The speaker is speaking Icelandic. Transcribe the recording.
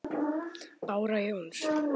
Bára Jóns.